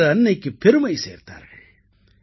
பாரத அன்னைக்குப் பெருமை சேர்த்தார்கள்